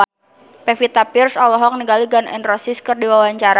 Pevita Pearce olohok ningali Gun N Roses keur diwawancara